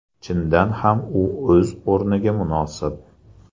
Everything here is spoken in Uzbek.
Chindan ham u o‘z o‘rniga munosib.